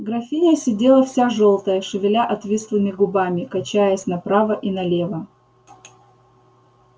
графиня сидела вся жёлтая шевеля отвислыми губами качаясь направо и налево